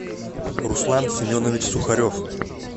руслан семенович сухарев